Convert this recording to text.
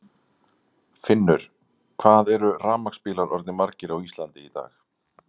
Finnur: Hvað eru rafmagnsbílar orðnir margir á Íslandi í dag?